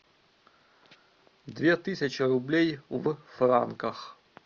две тысячи рублей в франках